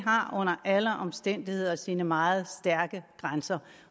har under alle omstændigheder sine meget stærke grænser